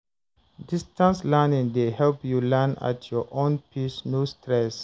Distance learning dey help you learn at your own pace, no stress.